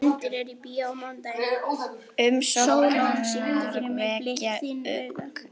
Umsóknirnar vekja ugg